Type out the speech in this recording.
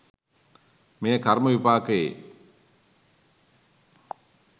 මෙය කර්ම විපාකයේ